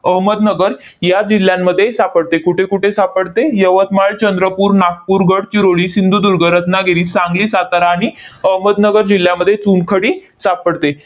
अहमदनगर या जिल्ह्यांमध्ये सापडते. कुठे कुठे सापडते? यवतमाळ, चंद्रपूर, नागपूर, गडचिरोली, सिंधुदुर्ग, रत्नागिरी, सांगली, सातारा आणि अहमदनगर जिल्ह्यामध्ये चुनखडी सापडते.